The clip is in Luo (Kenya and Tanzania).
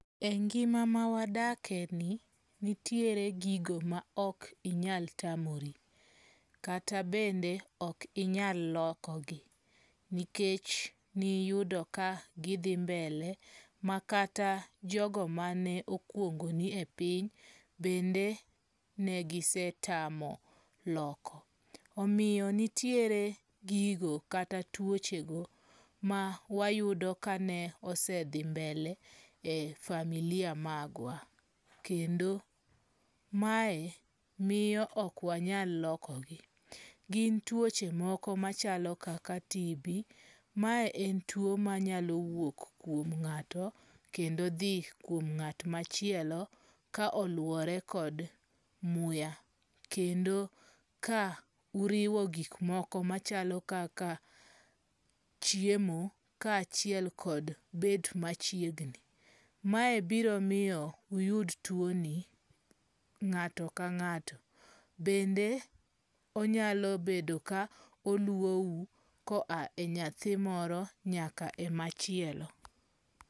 E ngima ma wadakeni nitiere gigo ma ok inyal tamori. Kata bende ok inyal lokogi, nikech niyudo ka gidhi mbele, makata jogo mane okuongoni e piny bende negisetamo loko. Omiyo nitiere gigo kata tuoche go ma wayudo kane osedhi mbele e familia magwa. Kendo mae miyo ok wanyal lokogi. Gin tuoche moko machalo kaka TB, mae en tuo manyalo wuok kuom ng'ato kendo dhi kuom ng'at machielo ka aluwore kod muya. Kendo ka uriwo kik moko machalo kaka chiemo kaachiel kod bet machiegni. Mae biro miyo uyud tuoni ng'ato ka ng'ato. Bende onyalo bedo ka oluwou koa e nyathi moro nyaka e machielo.